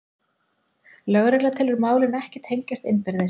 Lögregla telur málin ekki tengjast innbyrðis